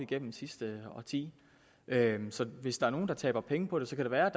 gennem sidste årti så hvis der er nogen der taber penge på det så kan det være at